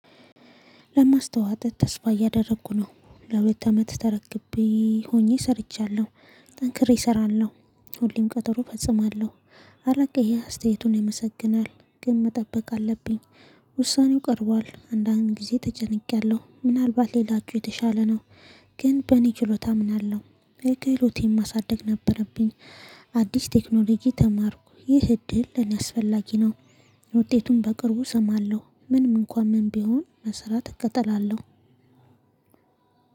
ለማስተዋት ተስፋ እያደረኩ ነው ለሁለት አመት ተረክቤ ሆኜ ሰርቻለሁ ጠንክሬ እሰራለሁ ሁሌም ቀጠሮ ፈጽማለሁ። አለቃዬ ይሄ አስተያየቱን ይመሰግናል ግን መጠበቅ አለብኝ። ውሳኔው ቀርቧል አንዳንዴ ጊዜ ተጨንቄያለሁ ምናልባት ሌላችሁ የተሻለ ነው። ግን በእኔ ችሎታ አምናለሁ። ክሎቴን ማሳደግ ነበረብኝ። አዲስ ቴክኖሎጂ ተማርኩ። ይህ እድል ለኔ አስፈላጊ ነው። ውጤቱን በቅርቡ እሰማለሁ ምንም እንኳን ምን ቢሆን መስራት እከተላለሁ።